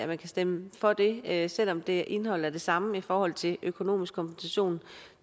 man kan stemme for det her beslutningsforslag selv om det indeholder det samme i forhold til økonomisk kompensation